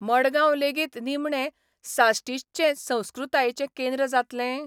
मडगांव लेगीत निमणे साश्टीचचे संस्कृतायेचें केंद्र जातलें?